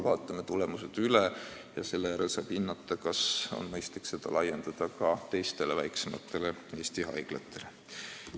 Vaatame tulemused üle ja seejärel saab hinnata, kas on mõistlik seda mudelit laiendada ka teistele väiksematele Eesti haiglatele.